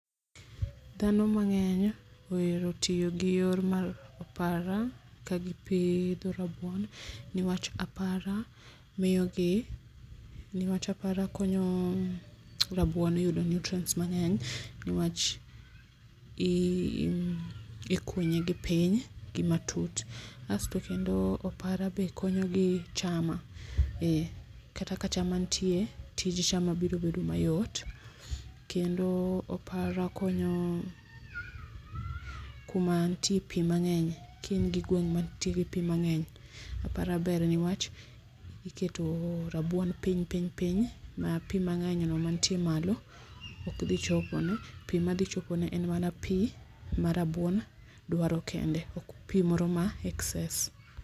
Dhano mang'eny ohero tiyo gi yor mar apara ka gipiidho rabuon niwach apara miyo gi, niwach apara konyo rabuon yudo nutrients mang'eny niwach i ikunye gipiny gi matut. Asto kendo apara be konyogi chama e kata ka chama nitie ,tij chama biro bedo mayot kendo apara konyo kuma nitie pi mang'eny. Ki in gi gweng' ma nitiere pi mang'eny, apara ber niwach iketo rabuon piny piny piny ma pi mang'eny no manitie malo ok dhi chopo ne. Pi madhi chopone en mana pi ma rabuon dwaro kende, ok pi moro ma excess.